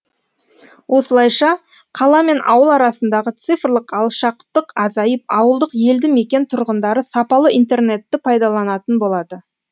осылайша қала мен ауыл арасындағы цифрлық алшақтық азайып ауылдық елді мекен тұрғындары сапалы интернетті пайдаланатын болады